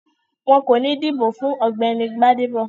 Wọn kò ní dìbò fún Ọ̀gbẹ́ni Gbádébọ̀